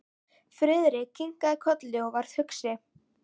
Friðrik kinkaði kolli og varð hugsi.